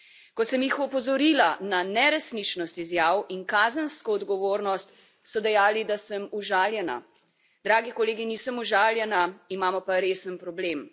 Ko sem jih opozorila na neresničnost izjav in kazensko odgovornost, so dejali, da sem užaljena. Dragi kolegi, nisem užaljena, imamo pa resen problem.